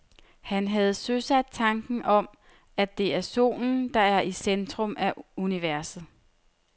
Han havde søsat tanken om, at det er solen, der er i centrum af universet.